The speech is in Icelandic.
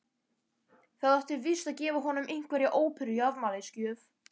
Það átti víst að gefa honum einhverja óperu í afmælisgjöf.